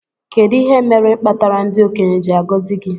Kedu ihe imere kpatara ndi okenye ji agozi gi?